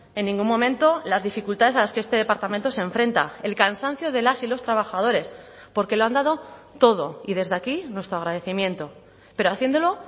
en ningún momento las dificultades a las que este departamento se enfrenta el cansancio de las y los trabajadores porque lo han dado todo y desde aquí nuestro agradecimiento pero haciéndolo